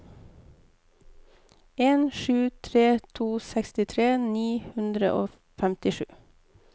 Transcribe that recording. en sju tre to sekstitre ni hundre og femtisju